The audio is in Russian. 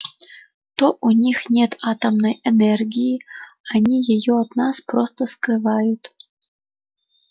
то у них нет атомной энергии они её от нас просто скрывают